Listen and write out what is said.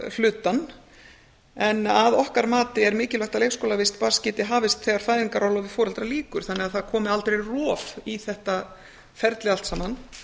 leikskólahlutann en að okkar mati er mikilvægt að leikskólavist barnsins geti hafist þegar fæðingarorlofi foreldra lýkur þannig að það komi aldrei rof í þetta ferli allt saman